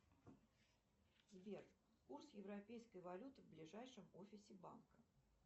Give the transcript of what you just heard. сбер курс европейской валюты в ближайшем офисе банка